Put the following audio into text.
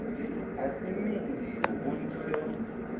a si minzhi hunzhi yo